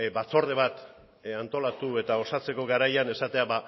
batzorde bat antolatu eta osatzeko garaian esatea